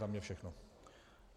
Za mne všechno.